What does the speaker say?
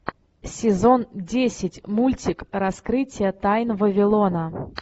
сезон десять мультик раскрытие тайн вавилона